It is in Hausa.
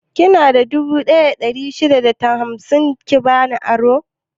Kina da dubu ɗaya da ɗari shida da hamsin ki bani aro?